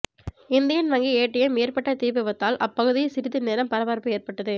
Indian வங்கி ATM ஏற்பட்ட தீ விபத்தால் அப்பகுதியில் சிறிது நேரம் பரபரப்பு ஏற்பட்டது